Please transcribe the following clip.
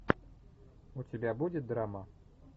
у тебя будет драма